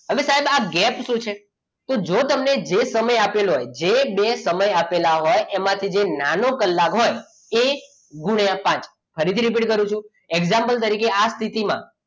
ધરતી અને સાયલા ગેપ શું છે અને સાહેબ આ ગેપ શું છે તો જો તમે જે સમય આપેલો હોય એ બે સમય આપેલા હોય એમાંથી જે નાનો કલાક હોય એ ગુણ્યા પાચ ફરીથી repeat કરું છું example તરીકે આ સ્થિતિમાં